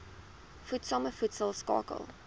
voedsame voedsel skakel